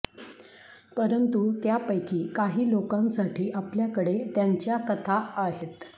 परंतु त्यापैकी काही लोकांसाठी आपल्याकडे त्यांच्या कथा आहेत